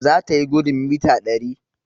zatayi gudun mita dari